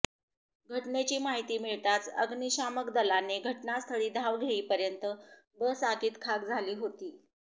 घटनेची माहिती मिळताच अग्निशामक दलाने घटनास्थळी धाव घेईपर्यत बस आगीत खाक झाली होती